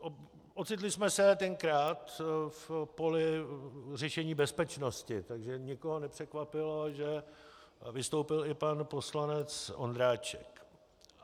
Ocitli jsme se tenkrát v poli řešení bezpečnosti, takže nikoho nepřekvapilo, že vystoupil i pan poslanec Ondráček.